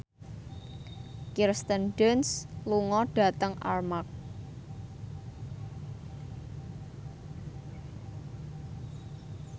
Kirsten Dunst lunga dhateng Armargh